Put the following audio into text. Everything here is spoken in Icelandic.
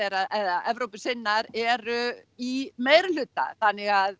að Evrópusinnar eru í meirihluta þannig að